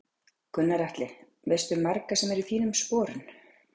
Gunnar Atli: Veistu um marga sem eru í þínum sporun?